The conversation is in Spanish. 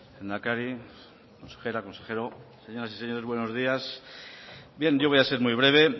lehendakari consejera consejero señoras y señores buenos días bien yo voy a ser muy breve